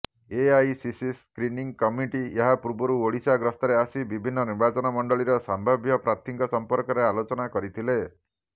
AICC screening committee ଏହାପୂର୍ବରୁ ଓଡିଶା ଗସ୍ତରେ ଆସି ବିଭିନ୍ନ ନିର୍ବାଚନମଣ୍ଡଳୀର ସମ୍ଭାବ୍ୟ ପ୍ରାର୍ଥୀଙ୍କ ସମ୍ପର୍କରେ ଆଲୋଚନା କରିଥିଲେ